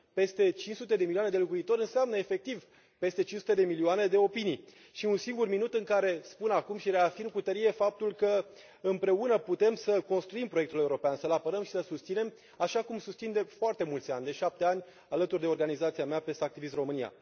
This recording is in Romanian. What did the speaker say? Peste cinci sute de milioane de locuitori înseamnă efectiv peste cinci sute de milioane de opinii și un singur minut în care spun acum și reafirm cu tărie faptul că împreună putem să construim proiectul european, să l apărăm și să l susținem, așa cum susțin de foarte mulți ani, de șapte ani, alături de organizația mea, PES Activists România.